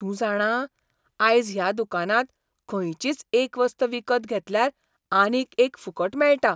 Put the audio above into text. तूं जाणा? आयज ह्या दुकानांत खंचीच एक वस्त विकत घेतल्यार आनीक एक फुकट मेळटा.